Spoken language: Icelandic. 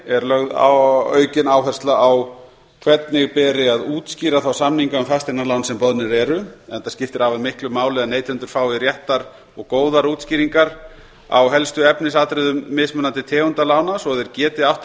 fjórða lögð er aukin áhersla á hvernig beri að útskýra þá samninga um fasteignalán sem boðnir eru enda skiptir afar miklu máli að neytendur fái réttar og góðar útskýringar á helstu efnisatriðum mismunandi tegunda lána svo þeir geti áttað